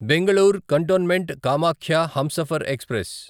Bengaluru cantonment Kamakhya Humsafar express